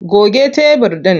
Goge tebur ɗin!